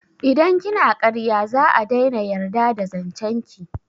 Idan kina karya za'a daina yarda da zancen ki